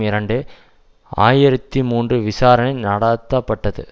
இரண்டு ஆயிரத்தி மூன்று விசாரணை நடாத்த பட்டது